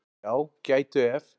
Já, gætu ef.